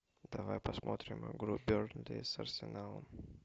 давай посмотрим игру бернли с арсеналом